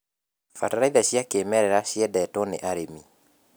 Bataraitha cia kĩmerera ciendetwo nĩ arĩmi.